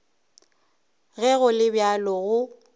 ge go le bjalo go